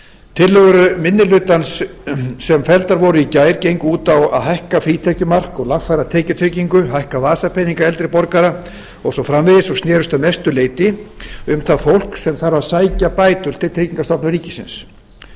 tillögur minni hlutans sem felldar voru í gær gengu út á að hækka frítekjumark og lagfæra tekjutengingu hækka vasapeninga eldri borgara og svo framvegis og snerust að mestu leyti um það fólk sem þarf að sækja bætur til tryggingastofnunar ríkisins